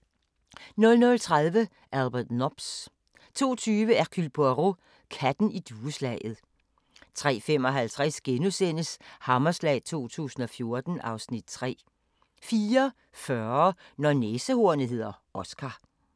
00:30: Albert Nobbs 02:20: Hercule Poirot: Katten i dueslaget 03:55: Hammerslag 2014 (Afs. 3)* 04:40: Når næsehornet hedder Oscar